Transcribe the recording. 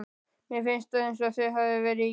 Mér finnst eins og það hafi verið í gær.